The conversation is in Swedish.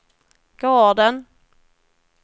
gården